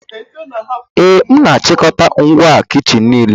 Ee, ana m achịkọta ngwa kichin m niile